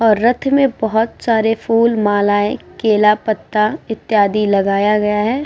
और रथ में बहोत सारे फूल मालये केला पत्ता इत्यादि लगाया गया है।